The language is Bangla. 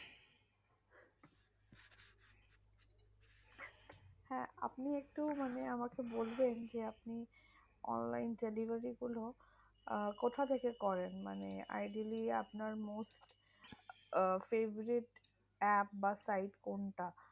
হাঁ আপনি একটু মানে আমাকে বলবেন যে আপনি online delivery গুলো কোথাথেকে করেন মানে ideally আপনার মোট favourite app বা site কোনটা